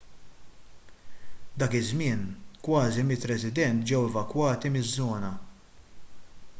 dak iż-żmien kważi 100 resident ġew evakwati miż-żona